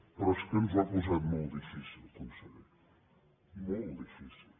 però és que ens ho ha posat molt difícil conseller molt difícil